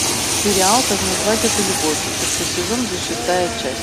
сериал как назвать эту любовь шестой сезон тридцать шестая часть